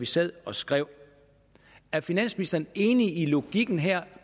sad og skrev er finansministeren enig i logikken her